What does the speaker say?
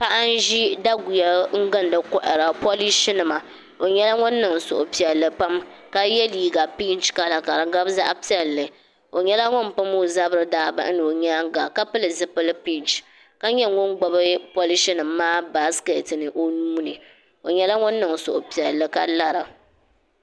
Paɣa n ʒi daguya n gindi kohara polish nima o nyɛla ŋun niŋ suhupiɛlli pam ka yɛ liiga pinch kala ka di gabi zaɣ piɛlli o nyɛla ŋun pam o zabiri daa bahina o nyaanga ka pili zipili pinch ka nyɛ ŋun gbubi polish nim maa baskɛt ni o nuuni o nyɛla ŋun niŋ suhupiɛlli ka lara